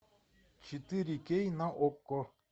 четыре кей на окко